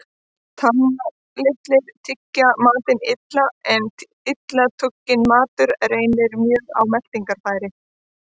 Tannlitlir tyggja matinn illa, en illa tugginn matur reynir mjög á meltingarfæri.